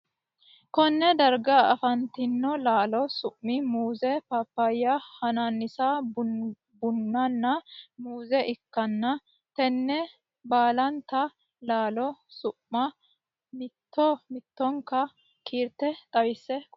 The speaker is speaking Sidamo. Konne darga afantino laallo su'mi muuze, papaaya, hanaannase, baangonna muuze ikanna tenne baalante laallo su'ma mitto mittonka kiirte xawise kuli?